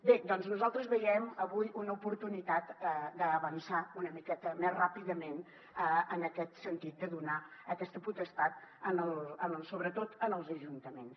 bé doncs nosaltres veiem avui una oportunitat d’avançar una miqueta més ràpidament en aquest sentit de donar aquesta potestat sobretot als ajuntaments